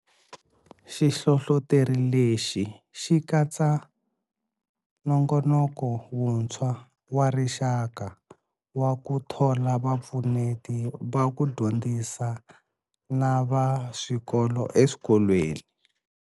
Xihlohloteri lexi xi katsa nongonoko wuntshwa wa rixaka wa ku thola vapfuneti va ku dyondzisa na va swikolo eswikolweni.